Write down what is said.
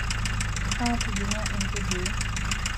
atijinga intudui